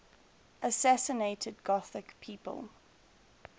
assassinated gothic people